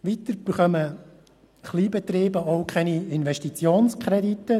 Weiter bekommen die Kleinbetriebe auch keine Investitionskredite.